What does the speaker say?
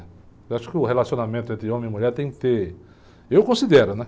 Eu acho que o relacionamento entre homem e mulher tem que ter... Eu considero, né?